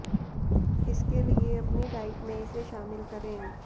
इसके लिए अपनी डाइट में इसे शामिल करें